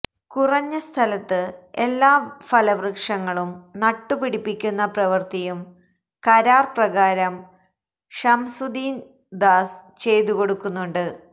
കുറഞ്ഞസ്ഥലത്ത് എല്ലാ ഫലവൃക്ഷങ്ങളും നട്ടു പിടിപ്പിക്കുന്ന പ്രവൃത്തിയും കരാര് പ്രകാരം ഷംസുധീര്ദാസ് ചെയ്തുകൊടുക്കുന്നുണ്ട്